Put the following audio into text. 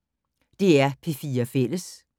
DR P4 Fælles